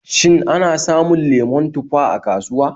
Shin ana samun lemon tufa a kasuwa?